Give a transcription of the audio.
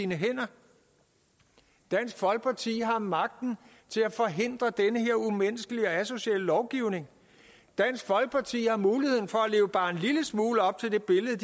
hænder dansk folkeparti har magten til at forhindre den her umenneskelige og asociale lovgivning dansk folkeparti har muligheden for at leve bare en lille smule op til det billede